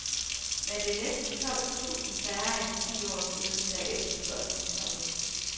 Men det er næsten tolv tusind færre end for ti år siden, da efterspørgslen toppede.